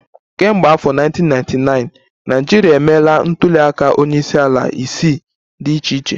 Kemgbe afọ 1999, Naịjirịa emeela ntuliaka onyeisiala isii dị iche iche